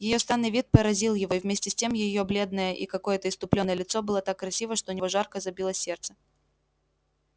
её странный вид поразил его и вместе с тем её бледное и какое-то исступлённое лицо было так красиво что у него жарко забилось сердце